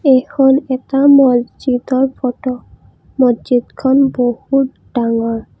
এইখন এটা মছজিদৰ ফটো মছজিদখন বহুত ডাঙৰ।